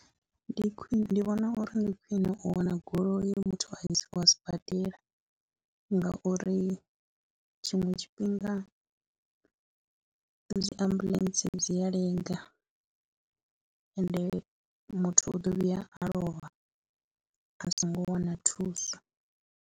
Ndi khwine, ndi vhona uri ndi khwine u wana goloi, muthu a isiwe sibadela ngauri tshiṅwe tshifhinga dzi ambuḽentse dzi a lenga ende muthu u ḓo vhuya a lovha a songo wana thuso.